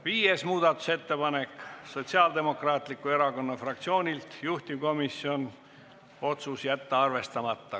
Viies muudatusettepanek, Sotsiaaldemokraatliku Erakonna fraktsioonilt, juhtivkomisjoni otsus: jätta arvestamata.